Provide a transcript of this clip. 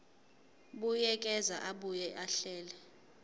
buyekeza abuye ahlele